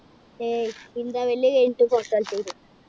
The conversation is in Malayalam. ഏയ് interval കഴിഞ്ഞിട്ട് പുറത്ത് നു.